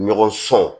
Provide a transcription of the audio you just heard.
Ɲɔgɔn sɔn